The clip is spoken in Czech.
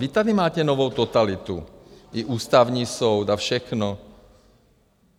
Vy tady máte novou totalitu i Ústavní soud a všechno.